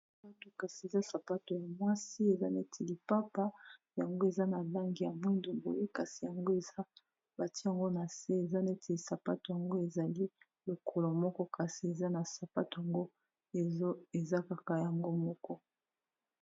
kasi eza sapato ya mwasi eza neti lipapa yango eza na lange ya mwindo boye kasi yango eza batiyango na se eza neti lisapato yango ezali lokolo moko kasi eza na sapato yango eza kaka yango moko